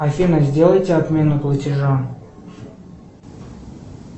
афина сделайте отмену платежа